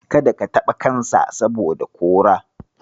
Kada ka taɓa kansa, saboda kora.